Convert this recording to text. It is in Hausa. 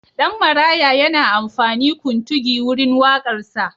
Ɗan Maraya yana amfani kuntugi wurin waƙarsa.